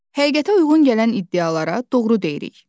Həqiqətə uyğun gələn iddialara doğru deyirik.